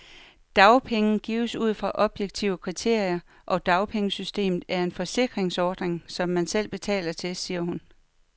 Dagpenge gives ud fra objektive kriterier, og dagpengesystemet er en forsikringsordning, som man selv betaler til, siger hun.